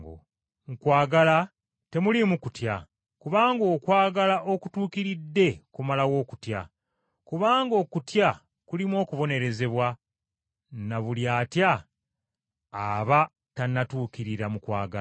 Mu kwagala temuliimu kutya, kubanga okwagala okutuukiridde kumalawo okutya; kubanga okutya kulimu okubonerezebwa, na buli atya, aba tannatuukirira mu kwagala.